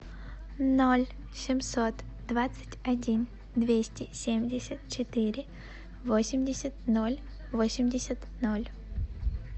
ноль семьсот двадцать один двести семьдесят четыре восемьдесят ноль восемьдесят ноль